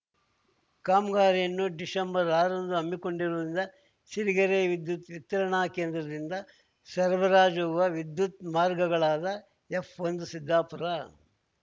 ಕಾಮ್ಗಾರಿಯನ್ನು December ಆರ ರಂದು ಹಮ್ಮಿಕೊಂಡಿರುವುದರಿಂದ ಸಿರಿಗೆರೆ ವಿದ್ಯುತ್‌ ವಿತರಣಾಕೇಂದ್ರದಿಂದ ಸರಬರಾಜಾಗುವ ವಿದ್ಯುತ್‌ ಮಾರ್ಗಗಳಾದ ಎಫ್‌ಒಂದು ಸಿದ್ದಾಪುರ